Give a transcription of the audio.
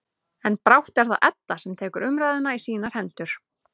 En brátt er það Edda sem tekur umræðuna í sínar hendur.